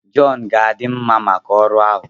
John ga-adị mma maka ọrụ ahụ